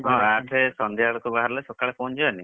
ଆଠରେ ସନ୍ଧ୍ୟା ବେଳକୁ ବାହାରିଲେ ସକାଳେ ପହଞ୍ଚିଯିବାନି?